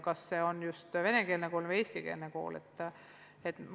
Kas see on venekeelne või eestikeelne kool?